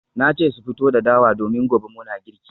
Na ce su fito da dawa domin gobe muna girki